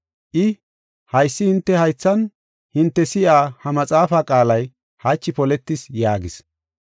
I, “Haysi hinte haythan hinte si7iya ha maxaafaa qaalay hachi poletis” yaagis.